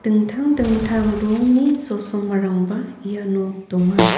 dingtang dingtang rongni chosimarangba iano donga.